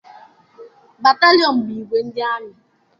Batalịọn bụ igwe ndị amị.